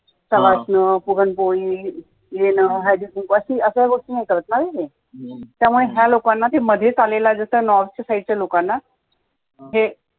अश्या गोष्टी नाही करत. त्यामुळे मधेच आलेला जसा त्या north side च्या लोकांना, हे